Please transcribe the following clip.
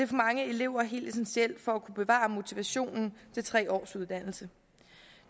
for mange elever helt essentielt for at kunne bevare motivationen for tre års uddannelse